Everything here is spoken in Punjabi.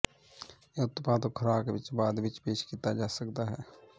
ਇਹ ਉਤਪਾਦ ਖੁਰਾਕ ਵਿੱਚ ਬਾਅਦ ਵਿੱਚ ਪੇਸ਼ ਕੀਤਾ ਜਾ ਸਕਦਾ ਹੈ